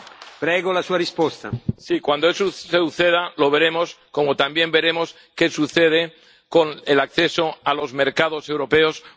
Cuando eso suceda, lo veremos, como también veremos qué sucede con el acceso a los mercados europeos por parte del Reino Unido.